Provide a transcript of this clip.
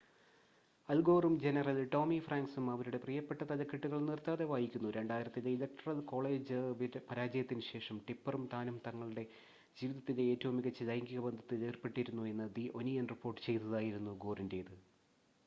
അൽ ഗോറും general Tommy ഫ്രാങ്ക്‌സും അവരുടെ പ്രിയപ്പെട്ട തലക്കെട്ടുകൾ നിർത്താതെ വായിക്കുന്നു 2000-ത്തിലെ ഇലക്ടറൽ കോളേജ് പരാജയത്തിന് ശേഷം ടിപ്പെറും താനും തങ്ങളുടെ ജീവിതത്തിലെ ഏറ്റവും മികച്ച ലൈംഗിക ബന്ധത്തിൽ ഏർപ്പെട്ടിരുന്നു എന്ന് ദി ഒനിയൻ റിപ്പോർട്ട് ചെയ്തതായിരുന്നു ഗോറിന്റെത്